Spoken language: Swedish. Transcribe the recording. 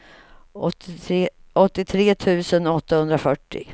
åttiotre tusen åttahundrafyrtio